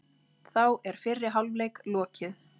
Þá er fyrri hálfleik lokið